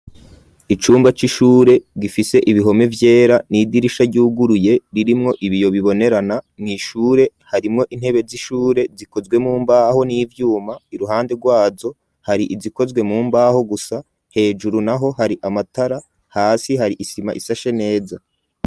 Icumba c'ishure gifise ibihome vyera n'idirisha ryuguruye ririmwo ibiyo bibonerana, mw'ishure harimwo intebe z'ishure zikozwe mu mbaho n'ivyuma, iruhande rwazo hari izikozwe mu mbaho gusa, hejuru naho hari amatara, hasi hari isima ishashe neza.